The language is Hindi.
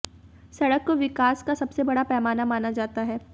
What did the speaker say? सड़क को विकास का सबसे बड़ा पैमाना माना जाता है